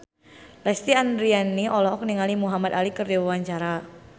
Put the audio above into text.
Lesti Andryani olohok ningali Muhamad Ali keur diwawancara